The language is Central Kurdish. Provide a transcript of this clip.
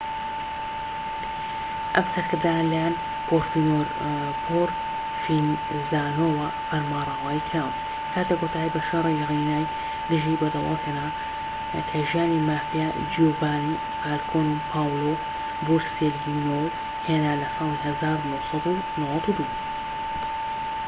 ئەم سەرکردانە لە لایەن پرۆڤینزانۆوە فەرمانڕەوایی کراون کاتێک کۆتایی بە شەڕی ڕینای دژ بە دەوڵەت هێنا کە ژیانی مافیا جیوڤانی فالکۆن و پاولۆ بۆرسێلینۆ هێنا لە ساڵی 1992‏.‎